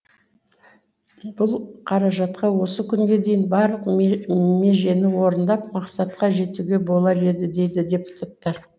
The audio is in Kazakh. бұл қаражатқа осы күнге дейін барлық межені орындап мақсатқа жетуге болар еді дейді депутаттар